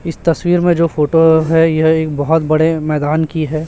इस तस्वीर में जो फोटो है यह एक बहोत बड़े मैदान की है।